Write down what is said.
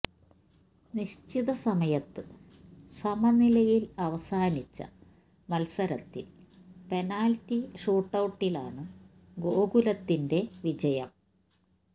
നിശ്ചിത സമയത്ത് സമനിലയിൽ അവസാനിച്ച മത്സരത്തിൽ പെനാൽറ്റി ഷൂട്ടൌട്ടിലാണ് ഗോകുലത്തിന്റെ വിജയം